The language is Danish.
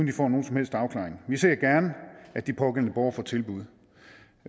de får nogen som helst afklaring vi ser gerne at de pågældende borgere får tilbud